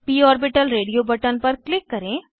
प orbital radio button पर click करें